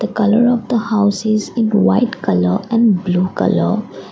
a colour of the house is in white colour and blue colour.